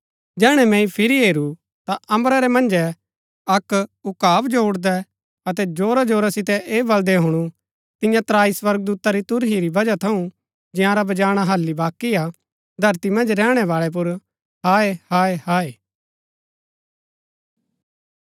जैहणै मैंई फिरी हेरू ता अम्बरा रै मन्जै अक्क उकाब जो उड़दै अतै जोरा जोरा सितै ऐह बलदै हुणु तियां त्राई स्वर्गदूता री तुरही री बजह थऊँ जंयारा वजाणा हालि बाकी हा धरती मन्ज रैहणैवाळै पुर हाय हाय हाय